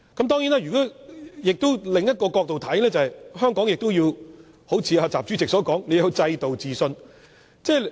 當然，從另一個角度來看，香港亦好像習主席所說，要對本身的制度自信。